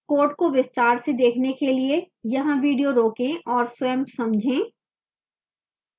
code को विस्तार से देखने के लिए यहाँ video रोकें और स्वयं समझें